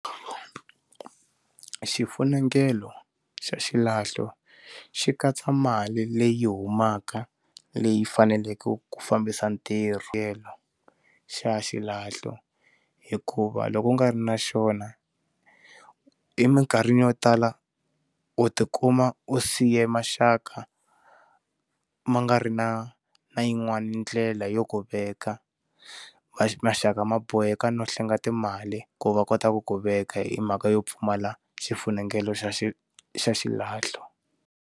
Xifunengelo xa xilahlo xi katsa mali leyi humaka leyi faneleke ku fambisa ntirho tlhelo xa xilahlo hikuva loko u nga ri na xona emikarhini yo tala u tikuma u siye maxaka ma nga ri na na yin'wani ndlela yo ku veka ma maxaka ma boheka no hlenga timali ku va kota ku ku veka hi mhaka yo pfumala xifunengeto xa xi xa xilahlo.